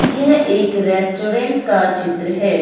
यह एक रेस्टोरेंट का चित्र है।